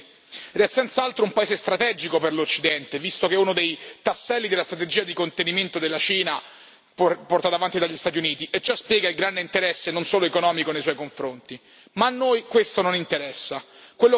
Le violazioni in tal senso sono innumerevoli ed è senz'altro un paese strategico per l'Occidente, visto che è uno dei tasselli della strategia di contenimento della Cina portata avanti dagli Stati Uniti e ciò spiega il grande interesse non solo economico nei suoi confronti.